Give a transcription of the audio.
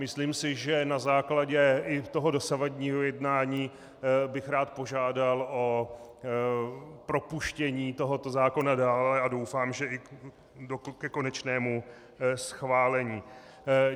Myslím si, že na základě i toho dosavadního jednání bych rád požádal o propuštění tohoto zákona dále, a doufám, že i ke konečnému schválení.